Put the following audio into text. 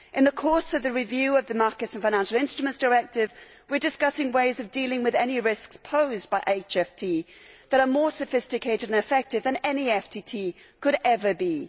In the course of the review of the Markets in Financial Instruments Directive, we are discussing ways of dealing with any risks posed by high frequency trading which are more sophisticated and effective than any FTT could ever be.